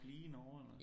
At blive i Norge eller